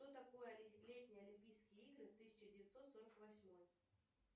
что такое летние олимпийские игры тысяча девятьсот сорок восьмой